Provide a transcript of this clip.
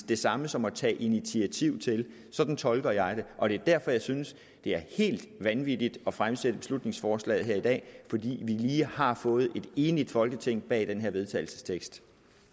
det samme som at tage initiativ til sådan tolker jeg det og det er derfor jeg synes det er helt vanvittigt at fremsætte beslutningsforslaget her i dag fordi vi lige har fået et enigt folketing bag den her vedtagelsestekst